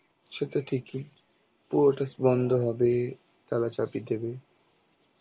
সেটা ঠিকই, পুরোটা বন্ধ হবে তালা চাবি দেবে.